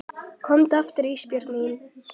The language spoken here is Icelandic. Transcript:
Komdu aftur Ísbjörg mín.